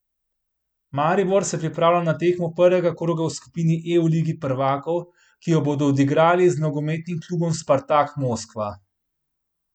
Maribor se pripravlja na tekmo prvega kroga v skupini E v Ligi prvakov, ki jo bodo odigrali z nogometnim klubom Spartak Moskva.